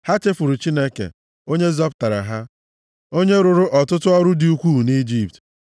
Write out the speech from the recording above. Ha chefuru Chineke, onye zọpụtara ha, onye rụrụ ọtụtụ ọrụ dị ukwuu nʼIjipt,